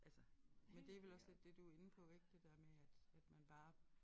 Altså men det vel også lidt det du inde på ik det der med at at man bare